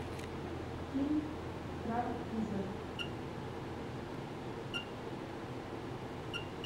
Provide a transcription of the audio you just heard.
фильм корабль призрак